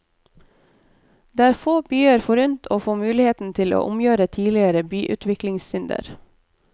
Det er få byer forunt å få muligheten til å omgjøre tidligere byutviklingssynder.